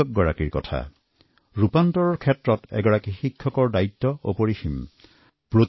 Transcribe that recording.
পৰিৱৰ্তনত শিক্ষকসকলৰ গুৰুত্বপূৰ্ণ ভূমিকা আছে